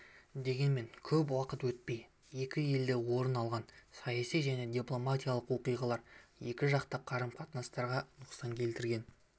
дегенмен көп уақыт өтпей екі елде орын алған саяси және дипломатиялық оқиғалар екіжақты қарым-қатынастарға нұқсан келтіргені